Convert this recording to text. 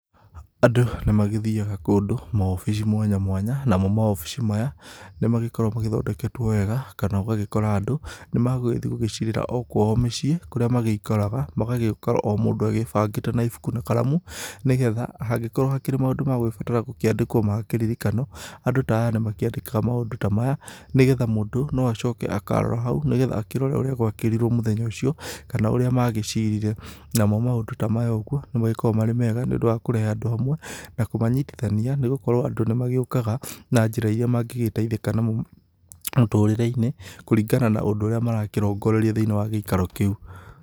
Andũ nĩ magĩthiyaga kũndũ maobici mwanya mwanya namo maobici maya nĩ magĩkoragwo mathondeketwo wega kana ũgagĩkora andũ nĩ magũgĩthiĩ gũgĩcirĩra o kwao mĩcĩĩ kũrĩa magĩikaraga. Magagĩkorwo o mũndũ ebangĩte na ĩbuku na karamu nĩgetha hangĩkorwo hakĩrĩ maũndũ megũgĩbatara kwandĩkwo magakĩririkanwo, andũ ta aya nĩ makĩandĩkaga maũndũ ta maya nĩgetha mũndũ no acoke akarora hau nĩgetha akĩrore ũrĩa gwakĩrirwo mũthenya ũcio kana ũrĩa magĩcirire. Namo maũndũ ta maya ũguo nĩ magĩkoragwo marĩ mega nĩ ũndũ wa kũrehe andũ hamwe na kũmanyitithania nĩgũkorwo andũ nĩ magĩũkaga na njĩra iria mangĩgĩteithĩka namo mũtũrĩre-inĩ kũringana na ũndũ ũrĩa marakĩrongoreria thĩiniĩ wa gĩikaro kĩu.